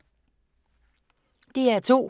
DR2